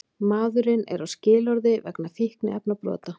Maðurinn er á skilorði vegna fíkniefnabrota